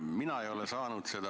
Mina ei ole seda saanud.